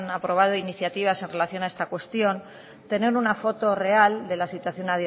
aprobado iniciativas en relación a esta cuestión tener una foto real de la situación